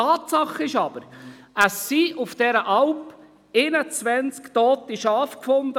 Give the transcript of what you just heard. Tatsache ist aber, auf dieser Alp wurden 21 tote Schafe gefunden.